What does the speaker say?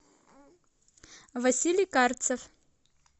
василий карцев